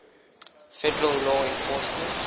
federal law enforcement